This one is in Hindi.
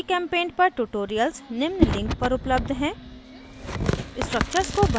gchempaint पर tutorials निम्न link पर उपलब्ध हैं